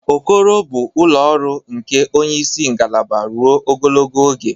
Okoro bụ ụlọ ọrụ nke onye isi ngalaba ruo ogologo oge.